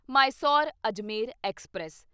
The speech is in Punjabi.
ਮਾਇਸੋਰ ਅਜਮੇਰ ਐਕਸਪ੍ਰੈਸ